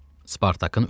Spartakın ölümü.